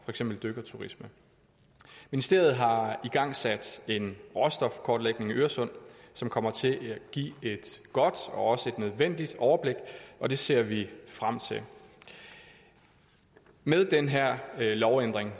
eksempel dykkerturismen ministeriet har igangsat en råstofkortlægning af øresund som kommer til at give et godt og nødvendigt overblik og det ser vi frem til med den her lovændring